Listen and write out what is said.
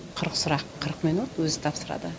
қырық сұрақ қырық минут өзі тапсырады